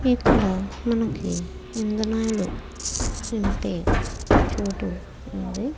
ఇక్కడ మనకి ఇంధనాలు నింపే చోటు ఉంది.